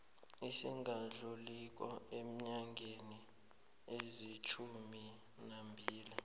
esingadluliko eenyangeni ezilitjhuminambili